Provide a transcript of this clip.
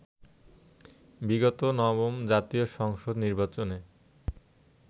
বিগত নবম জাতীয় সংসদ নির্বাচনে